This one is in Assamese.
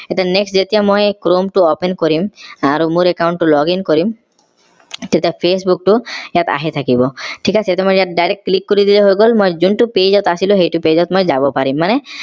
এতিয়া next যেতিয়া মই chrome টো open কৰিম আৰু মোৰ account টো login কৰিম তেতিয়া facebook টো ইয়াত আহি থাকিব ঠিক আছে এইটো মই ইয়াত direct click কৰি দিলেই হৈ গল মই যোনটো page ত আছিল সেইটো page ত মই যাব পাৰিম মানে